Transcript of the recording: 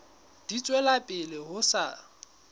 di tswela pele ho sa